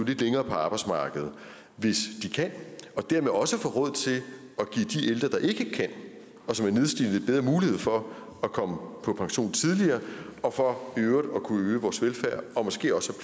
lidt længere på arbejdsmarkedet hvis de kan og dermed også få råd til at give de ældre der ikke kan og som er nedslidte lidt bedre mulighed for at komme på pension tidligere og for i øvrigt at kunne øge vores velfærd og måske også